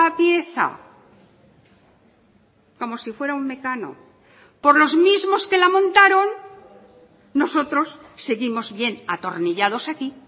pieza como si fuera un mecano por los mismos que la montaron nosotros seguimos bien atornillados aquí